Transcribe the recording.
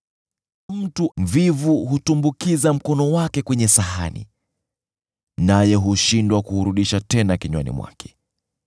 Mtu mvivu hutumbukiza mkono wake kwenye sahani, naye huchoka kuupeleka kwenye kinywa chake.